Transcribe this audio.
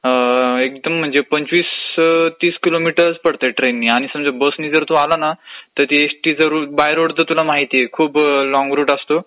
एकदम म्हणजे पंचवीस ते तीस किलोमीटरच पडतय, ट्रेननी. आणि जर एसटीने जर तू आला ना तर बाय रोड तुला माहितेय खूप लांब रूट असतो,